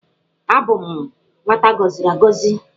Abụ m nwata agọziri agọzi.